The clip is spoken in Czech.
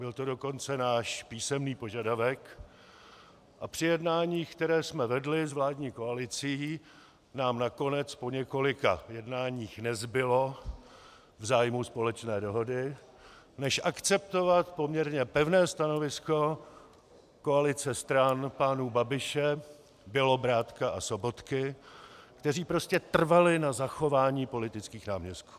Byl to dokonce náš písemný požadavek a při jednáních, která jsme vedli s vládní koalicí, nám nakonec po několika jednáních nezbylo v zájmu společné dohody, než akceptovat poměrně pevné stanovisko koalice stran pánů Babiše, Bělobrádka a Sobotky, kteří prostě trvali na zachování politických náměstků.